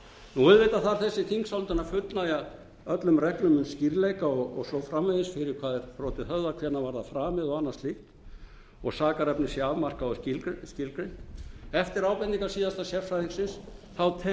skoðun auðvitað þarf þessi þingsályktun að fullnægja öllum reglum um skýrleika og svo framvegis fyrir hvað er brotið höfðað hvenær var það framið og annað slíkt og sakarefni sé afmarkað og skilgreint eftir ábendingar síðasta sérfræðingsins tel